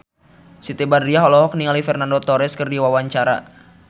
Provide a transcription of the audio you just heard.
Siti Badriah olohok ningali Fernando Torres keur diwawancara